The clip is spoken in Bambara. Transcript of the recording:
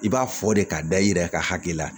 I b'a fɔ de k'a da i yɛrɛ ka hakili la